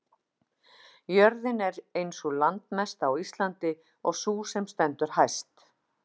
jörðin er ein sú landmesta á íslandi og sú sem stendur hæst